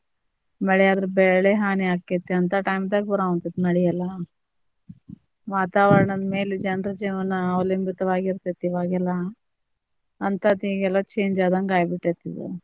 ಮಳಿಯಾದ್ರ ಬೆಳೆ ಹಾನಿ ಆಕ್ಕೆತಿ ಅಂತಾ time ದಾಗ ಬರತೇತಿ ಮಳಿ ಎಲ್ಲಾ ವಾತಾವರಣದ ಮೇಲೆ ಜನರ ಜೀವನಾ ಅವಲಂಬಿತವಾಗಿರತೇತಿ ಇವಾಗ್ ಎಲ್ಲಾ ಅಂತಾದ್ ಈಗೆಲ್ಲಾ change ಆದಂಗ ಆಗ್ಬಿಟ್ಟೆತಿ ಇದ್.